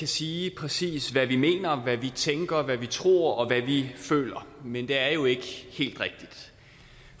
sige præcis hvad vi mener hvad vi tænker hvad vi tror og hvad vi føler men det er jo ikke helt rigtigt